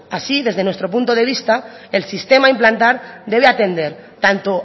así desde nuestro punto de vista el sistema a implantar debe atender tanto